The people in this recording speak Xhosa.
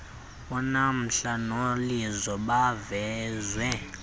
unamhla nolizo bavezwa